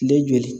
Den joli